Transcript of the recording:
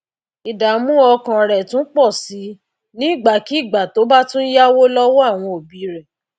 ìdààmú ọkàn rè tún pò sí nígbàkigbà tó bá tún yáwó lówó àwọn òbí rè